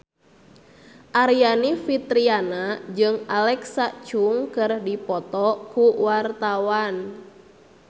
Aryani Fitriana jeung Alexa Chung keur dipoto ku wartawan